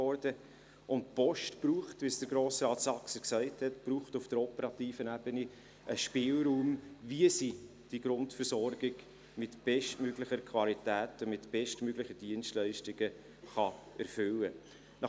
Die Post braucht, wie Grossrat Saxer gesagt hat, auf der operativen Ebene einen Spielraum, wie sie die Grundversorgung mit bestmöglicher Qualität und mit bestmöglichen Dienstleistungen erfüllen kann.